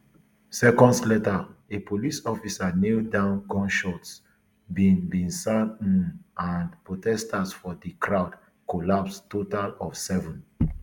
seconds later a police officer kneel down gunshots bin bin sound um and protesters for di crowd collapse total of seven